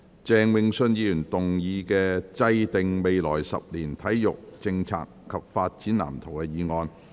鄭泳舜議員動議的"制訂未來十年體育政策及發展藍圖"議案。